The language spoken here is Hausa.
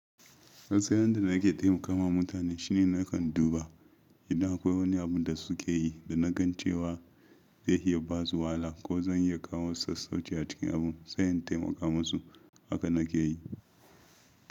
Sannan yadda na ke taimakawa mutane shine na kan duba idan akwai wani abun da su ke yi da na gan cewa zai iya ba su wahala ko zan iya kawo sassauci a cikin abun, sai in taimaka musu. Haka na ke yi.